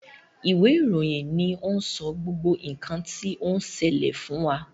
Ìwé ìròyìn ni o n sọ gbogbo nkan ti on ṣẹlẹ fún wa.